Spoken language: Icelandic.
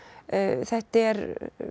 þetta er